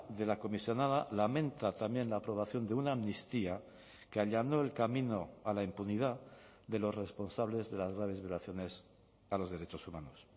de la comisionada lamenta también la aprobación de una amnistía que allanó el camino a la impunidad de los responsables de las graves violaciones a los derechos humanos